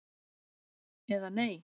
eða Nei!